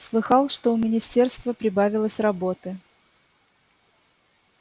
слыхал что у министерства прибавилось работы